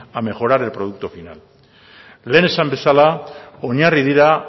a mejorar el producto final lehen esan bezala oinarri dira